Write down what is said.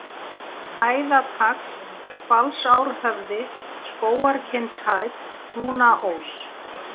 Hæðatagl, Hvalsárhöfði, Skógarkinnshæð, Húnaós